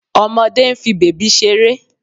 Ọmọdé ń fi bèbí ṣeré